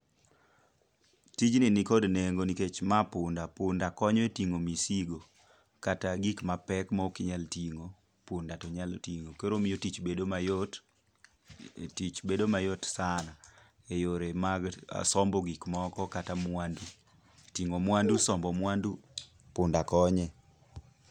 Tijni nikod nengo nikech ma punda. Punda konyo e ting'o misigo kata gik ma pek ma okinyal ting'o, punda to nyalo ting'o. Koro omiyo tich bedo mayot. Tich bedo mayot sana eyore mag sombo gik moko kata mwandu. Ting'o mwandu, sombo mwandu, punda konye.